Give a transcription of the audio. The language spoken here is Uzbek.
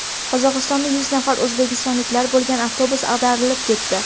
Qozog‘istonda yuz nafar o‘zbekistonliklar bo‘lgan avtobus ag‘darilib ketdi.